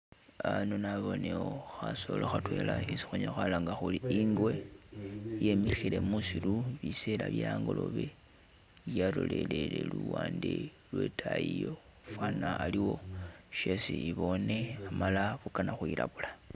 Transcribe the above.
Ano naboonewo khasolo khatwela isi khunyala khwalanga khuri ingwe, yemikhile musiru biseela bye angolobe yalolele luwande lwetaayi iyo fwana aliwo shesi iboone amala bukana khwi labula.